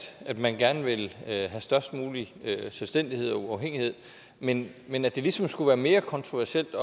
at man gerne vil have størst mulig selvstændighed og uafhængighed men men at det ligesom skulle være mere kontroversielt